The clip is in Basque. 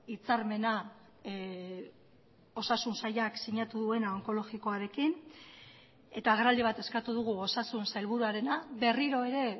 hitzarmena osasun sailak sinatu duena onkologikoarekin eta agerraldi bat eskatu dugu osasun sailburuarena berriro ere